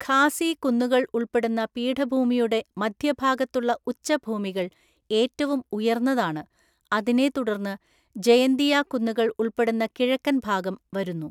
ഖാസി കുന്നുകൾ ഉൾപ്പെടുന്ന പീഠഭൂമിയുടെ മധ്യഭാഗത്തുള്ള ഉച്ചഭൂമികള്‍ ഏറ്റവും ഉയർന്നതാണ്; അതിനെ തുടർന്ന് ജയന്തിയാ കുന്നുകൾ ഉൾപ്പെടുന്ന കിഴക്കൻ ഭാഗം വരുന്നു.